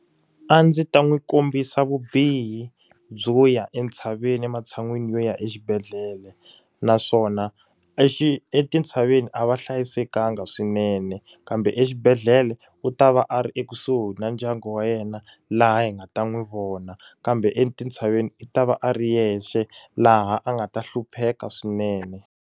A ndzi ta n'wi kombisa vubihi byo ya entshaveni ematshan'wini yo ya exibedhlele. Naswona etintshaveni a va hlayisekanga swinene, kambe exibedhlele u ta va a ri ekusuhi na ndyangu wa yena laha hi nga ta n'wi vona. Kambe etintshaveni i ta va a ri yexe, laha a nga ta hlupheka swinene.